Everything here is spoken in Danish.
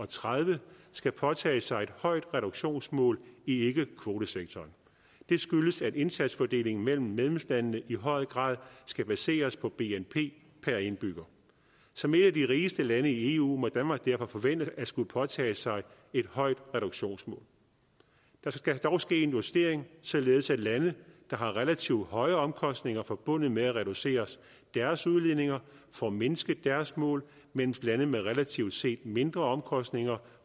tredive skal påtage sig et højt reduktionsmål i ikkekvotesektoren det skyldes at indsatsfordelingen mellem medlemslandene i høj grad skal baseres på bnp per indbygger som et af de rigeste lande i eu må danmark derfor forvente at skulle påtage sig et højt reduktionsmål der skal dog ske en justering således at lande der har relativt høje omkostninger forbundet med at reducere deres udledninger får mindsket deres mål mens lande med relativt set mindre omkostninger